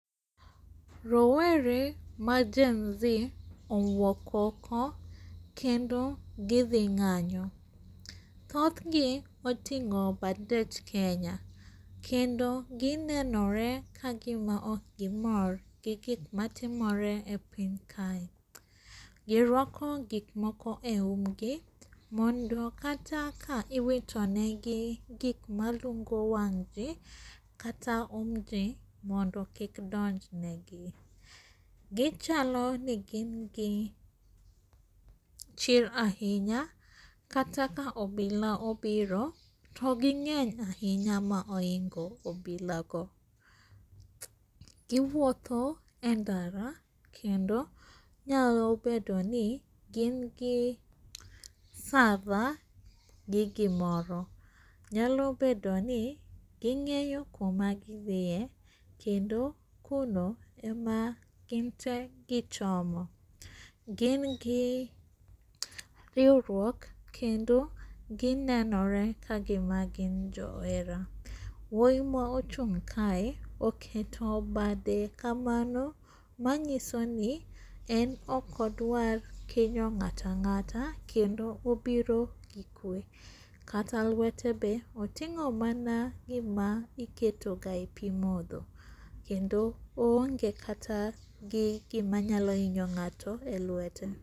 Rowere maGen Z owuok oko kendo gidhi ng'anyo. Dhodhgi oting'o bendech Kenya kendo ginenore kagima okgimor gi gikmatimore e piny kae. Giruako gikmoko e umgi mondo kata ka iwito negi gigma lungo wang' jji kata umgi mondo kik donji negi. Gichaloni gin gi chir ahinya kata ka obila obiro to ging'eny ahinya mohingo obila go. Giwuotho e ndara kendo nyalo bedoni gin gi server gi gimoro, nyalo bedoni ging'eyo kuma gidhie kendo kuno ema ginte gichomo. Gin gi riuruok kendo ginenore kagima gin jo hera. Wuoyi ma ochung' kae oketo bade kamano manyisoni en okodwar kinyo ng'ato ang'ata, kendo obiro gi kwe, kata lwete be oting'o mana gima iketoga e pii modho kendo oonge kata gi gima nyalo inyo ng'ato e lwete.